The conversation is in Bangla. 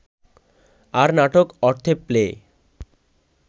আর নাটক অর্থে প্লে